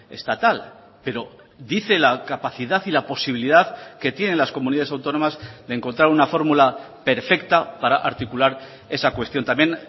estatal pero dice la capacidad y la posibilidad que tienen las comunidades autónomas de encontrar una fórmula perfecta para articular esa cuestión también